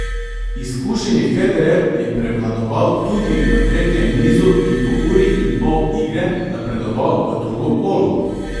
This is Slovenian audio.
Izkušeni Federer je prevladoval tudi v tretjem nizu in po uri in pol igre napredoval v drugo kolo.